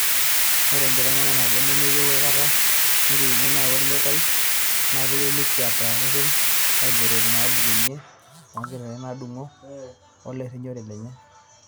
Oree enkiteng'ena naboo nemeyeu aikata nekirikino nayawua olmetai naakeyieu nekiaata reten oobtokitin naaputukunye o nkiyengingiyek neisulaki mettii obo oyiolo enkata nadung'o olerinyore lenye.